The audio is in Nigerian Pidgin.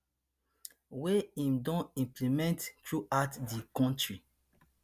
wey im dey implement throughout di kontri